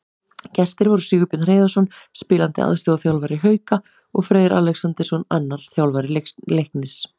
Gestir voru Sigurbjörn Hreiðarsson, spilandi aðstoðarþjálfari Hauka, og Freyr Alexandersson, annar þjálfara Leiknis.